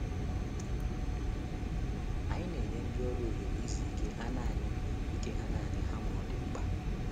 Anyị na-enye ndị ọrụ ohere izu ike ha naanị ike ha naanị ha ma ọ dị mkpa.